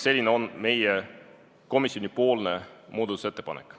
Selline on meie komisjonipoolne muudatusettepanek.